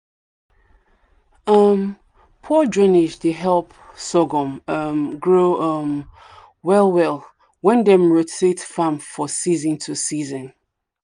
um poor drainage dey help sorghum um grow um well well when dem rotate farm for season to season.